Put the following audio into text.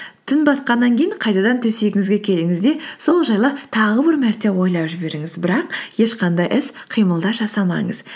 түн батқаннан кейін қайтадан төсегіңізге келіңіз де сол жайлы тағы бір мәрте ойлап жіберіңіз бірақ ешқандай іс қимылдар жасамаңыз